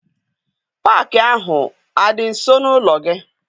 Paakị ahụ adị nso n'ụlọ gị?